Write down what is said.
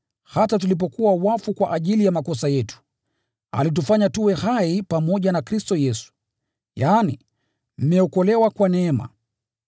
hata tulipokuwa wafu kwa ajili ya makosa yetu, alitufanya tuwe hai pamoja na Kristo Yesu, yaani, mmeokolewa kwa neema.